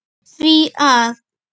því að